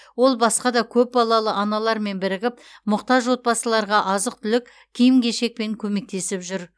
ол басқа да көпбалалы аналармен бірігіп мұқтаж отбасыларға азық түлік киім кешекпен көмектесіп жүр